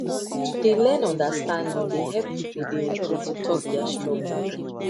to dey learn understanding dey help people dey okay to talk their struggle